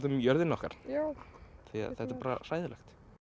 um jörðina okkar því þetta er bara hræðilegt